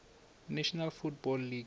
national football league